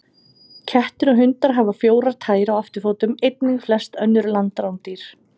Kettir og hundar hafa fjórar tær á afturfótum, einnig flest önnur landrándýr.